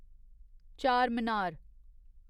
Charminar